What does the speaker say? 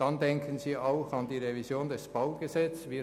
Dann denken Sie auch an die Revision des Baugesetzes (BauG).